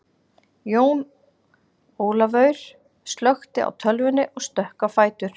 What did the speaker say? Jón Ólafaur slökkti á tölvunni og stökk á fætur.